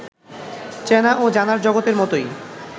চেনা ও জানার জগতের মতোই